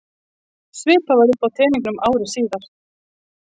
Svipað var uppi á teningnum ári síðar.